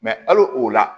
hali o la